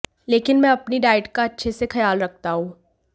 लेकिन मैं अपनी डाइट का अच्छे से ख्याल रखता हूं